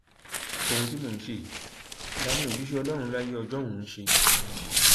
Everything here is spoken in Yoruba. ohun tí mò ń ṣe yìí làwọn òjíṣẹ ọlọrun láyé ọjọun ṣe